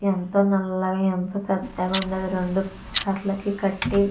ఎంతో నల్లగా అంత పెద్దగా ఉన్నవి రెండు కరాలకి కట్టి --